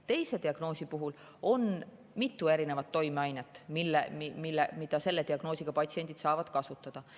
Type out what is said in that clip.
Teise diagnoosi puhul on mitu erinevat toimeainet, mida selle diagnoosiga patsiendid saavad kasutada.